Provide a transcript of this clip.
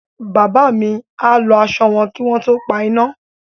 Bàbá mi máa lọ aṣọ wọn kí wọ́n to pa iná.